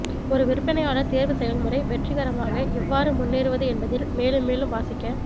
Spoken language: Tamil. ஒரு விற்பனையாளர் தேர்வு செயல்முறை வெற்றிகரமாக எவ்வாறு முன்னேறுவது என்பதில் மேலும் மேலும் வாசிக்க